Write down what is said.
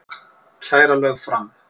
Kæra lögð fram